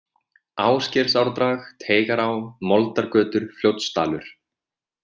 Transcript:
Ásgeirsárdrag, Teigará, Moldargötur, Fljótsdalur